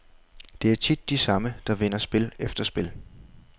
Det er tit de samme, der vinder spil efter spil.